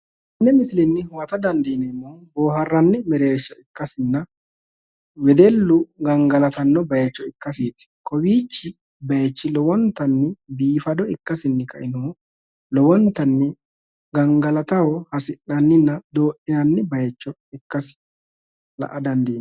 Tenne misilenni huwata dandiineemmori boohaarranni merersha ikkasinna wedellu gangalatanno bayicho ikkaseeti kowiichi bayichi horontanni biifado ikkasinni kainohunni lowintanni gangalataho hasia'nanninna doodhinanni bayicho ikkasi la'a dandiinanni.